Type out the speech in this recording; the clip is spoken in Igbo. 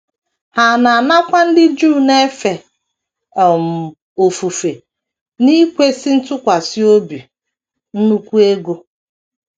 Ha na - anakwa ndị Juu na - efe um ofufe n’ikwesị ntụkwasị obi nnukwu ego.